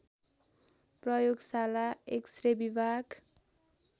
प्रयोगशाला एक्सरे विभाग